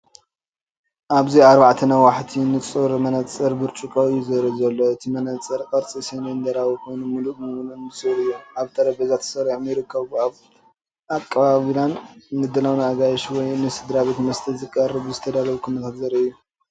ኣብዚ ኣርባዕተ ነዋሕቲ ንጹር መነጽር ብርጭቆ እዩ ዘርኢ ዘሎ። እቲ መነጽር ቅርጺ ሲሊንደራዊ ኮይኑ ምሉእ ብምሉእ ንጹር እዩ። ኣብ ጠረጴዛ ተሰሪዖም ይርከቡ። እዚ ኣቀባብላን ምድላውን ንኣጋይሽ ወይ ንስድራቤት መስተ ንምቕራብ ዝተዳለወሉ ኩነታት ዘርኢ እዩ።